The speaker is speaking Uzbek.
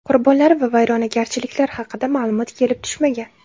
Qurbonlar va vayronagarchiliklar haqida ma’lumot kelib tushmagan.